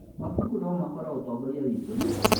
Mabuku no makorwo ũtongoria witũ.